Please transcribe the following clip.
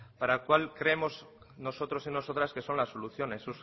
para cual creemos nosotros y nosotras que son las soluciones